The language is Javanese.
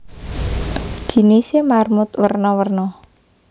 Jinisé marmut werna werna